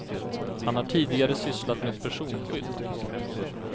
Han har tidigare sysslat med personskydd.